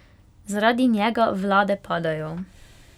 Zaradi njega vlade padajo.